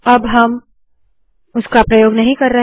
अब हम उसका प्रयोग नहीं कर रहे